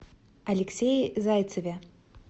алексее зайцеве